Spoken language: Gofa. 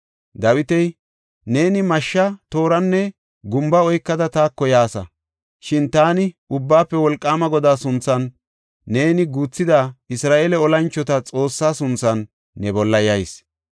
Dawiti, “Neeni mashsha, tooranne gumba oykada taako yaasa; shin taani Ubbaafe Wolqaama Godaa sunthan, neeni guuthida Isra7eele olanchota Xoossaa sunthan ne bolla yayis.